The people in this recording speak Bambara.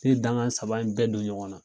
Ne ye danga saba in bɛɛ don ɲɔgɔn na.